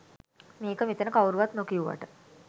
මේක මෙතන කවුරුවත් නොකිව්වට